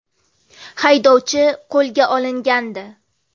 Haydovchi qo‘lga olingandi.